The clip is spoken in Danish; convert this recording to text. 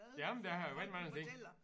Jamen der har været rigtig mange ting